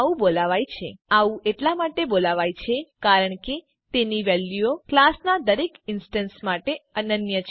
instance fields ને આવું એટલા માટે બોલાવાય છે કારણ કે તેની વેલ્યુઓ ક્લાસનાં દરેક ઇન્સ્ટેન્સ માટે અનન્ય છે